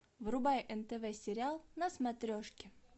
врубай нтв сериал на смотрешке